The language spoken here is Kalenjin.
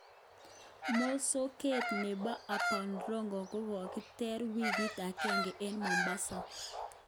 Mosoket nebo Aboud Rogo kokokiter wikit agenge eng Mombasa.